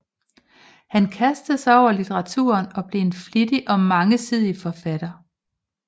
Han kastede sig over litteraturen og blev en flittig og mangesidig forfatter